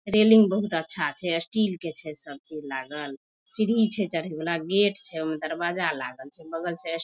railing बहुत अच्छा छै स्टील के छै सब चीज लागल सीढ़ी छै चढे वाला गेट छै ओय में दरवाजा लागल छै बगल से ए --